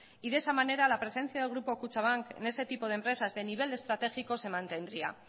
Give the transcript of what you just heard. y de esa manera la presencia del grupo kutxabank en ese tipo de empresa de nivel estratégico se mantendría